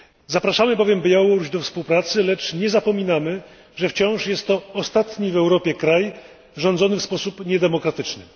Zapraszamy bowiem Białoruś do współpracy, lecz nie zapominamy, że wciąż jest to ostatni w Europie kraj rządzony w sposób niedemokratyczny.